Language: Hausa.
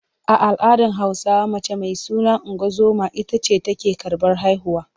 A al’adar Hausawa mace mai suna ungozoma ita ce take karɓar haihuwa.